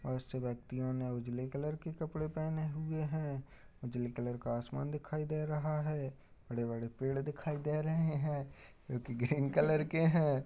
व्यक्तियों ने उजले कलर के कपड़े पहने हुए हैं। उजले कलर का आसमान दिखाई दे रहा है। बड़े-बड़े पेड़ दिखाई दे रहे है जोकि ग्रीन कलर के है।